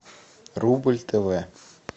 рубль тв